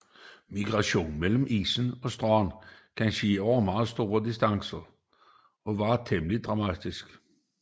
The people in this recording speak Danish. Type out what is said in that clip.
Migrationen mellem isen og stranden kan ske over meget store distancer og være temmelig dramatisk